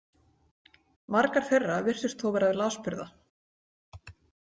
Margar þeirra virtust þó vera lasburða.